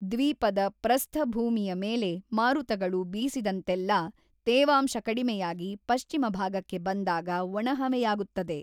ದ್ವೀಪದ ಪ್ರಸ್ಥಭೂಮಿಯ ಮೇಲೆ ಮಾರುತಗಳು ಬೀಸಿದಂತೆಲ್ಲಾ ತೇವಾಂಶ ಕಡಿಮೆಯಾಗಿ ಪಶ್ಚಿಮಭಾಗಕ್ಕೆ ಬಂದಾಗ ಒಣಹವೆಯಾಗುತ್ತದೆ.